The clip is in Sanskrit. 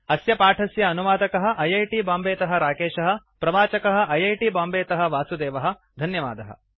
अस्य पाठस्य अनुवादकः ऐ ऐ टी बांबेतः राकेशः प्रवाचकः ऐ ऐ टी बांबेतः वासुदेवः धन्यवादः